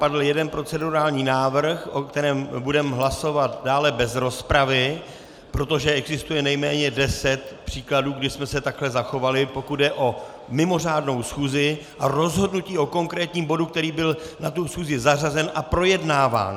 Padl jeden procedurální návrh, o kterém budeme hlasovat dále bez rozpravy, protože existuje nejméně deset příkladů, kdy jsme se takhle zachovali, pokud jde o mimořádnou schůzi a rozhodnutí o konkrétním bodu, který byl na tu schůzi zařazen a projednáván.